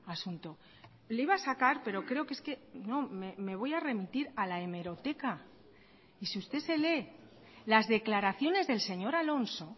asunto le iba a sacar pero creo que es que me voy a remitir a la hemeroteca y si usted se lee las declaraciones del señor alonso